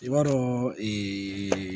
I b'a dɔn